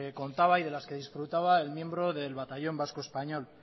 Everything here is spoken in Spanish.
contaba y de las que disfrutaba el miembro del batallón vasco español